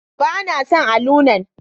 Ba na son allunan.